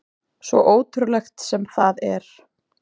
Svo ótrúlegt sem það er.